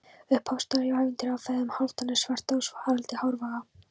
Upphafsstafur í ævintýri af feðgunum Hálfdani svarta og Haraldi hárfagra.